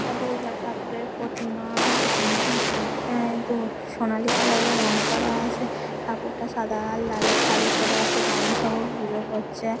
এটা দূর্গা ঠাকুরের প্রতিমা- এখানটায় আ এইতো সোনালী কালার এর রং করা আছে ঠাকুর টা সাদা লালে সাড়ি পরে আছে বামুন ঠাকুর পুজো করছে।